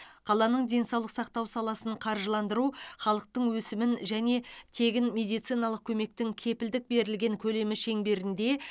қаланың денсаулық сақтау саласын қаржыландыру халықтың өсімін және тегін медициналық көмектің кепілдік берілген көлемі шеңберінде